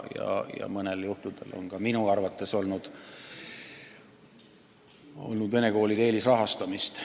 Ja mõnel juhul on minu arvates olnud vene koolide eelisrahastamist.